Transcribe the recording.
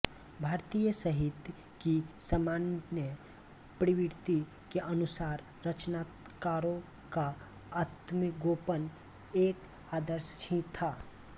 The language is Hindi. भारतीय साहित्य की सामान्य प्रवृत्ति के अनुसार रचनाकारों का आत्मगोपन एक आदर्श ही था